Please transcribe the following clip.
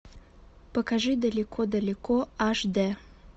покажи далеко далеко аш д